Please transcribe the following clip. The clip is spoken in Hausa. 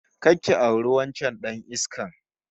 Kar ki auri wancan dan iskan!